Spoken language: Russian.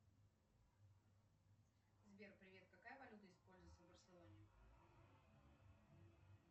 сбер привет какая валюта используется в барселоне